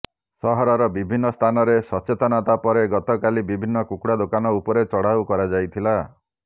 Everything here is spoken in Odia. ସହରର ବିଭିନ୍ନ ସ୍ଥାନରେ ସଚେତନତା ପରେ ଗତକାଲି ବିଭିନ୍ନ କୁକୁଡା ଦୋକାନ ଉପରେ ଚଢାଉ କରାଯାଇଥିଲା